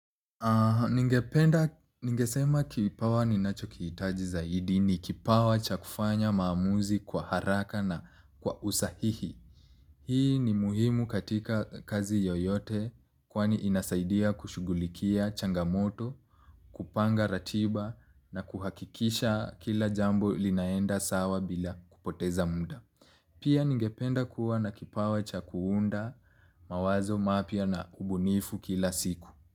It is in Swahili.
Ningependa, ningesema kipawa ninacho kihitaji zaidi ni kipawa cha kufanya maamuzi kwa haraka na kwa usahihi. Hii ni muhimu katika kazi yoyote kwani inasaidia kushughulikia changamoto, kupanga ratiba na kuhakikisha kila jambo linaenda sawa bila kupoteza muda. Pia ningependa kuwa na kipawa cha kuunda mawazo mapya na ubunifu kila siku.